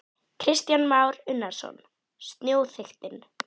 Kristján Már Unnarsson: Snjóþykktin?